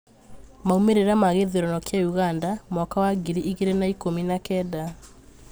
Maumiria ma githurano kia ũganda mwaka wa ngiri igiri na ikumi na kenda